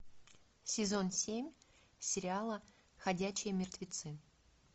сезон семь сериала ходячие мертвецы